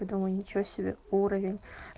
я думаю ничего себе уровень